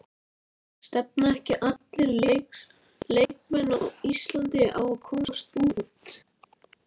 Stefna ekki allir leikmenn á Íslandi á að komast út?